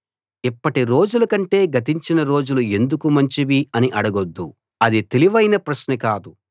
ఇప్పటి రోజుల కంటే గతించిన రోజులు ఎందుకు మంచివి అని అడగొద్దు అది తెలివైన ప్రశ్న కాదు